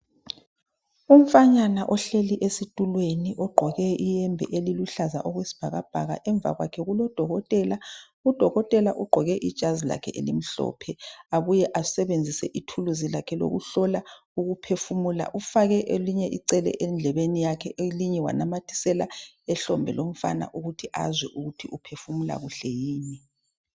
Umfanyana ohleli esitulweni ogqoke iyembe eliluhlaza okwesibhakabhaka. Emva kwakhe kulodokotela, udokotela ugqoke ijazi lakhe elimhlophe, abuye asebenzise ithuluzi lakhe lokuhlola ukuphefumula. Ufake elinye icele endlebeni yakhe elinye wanamathisela ehlombe lomfana ukuthi azwe ukuthi uphefumula kuhle yini.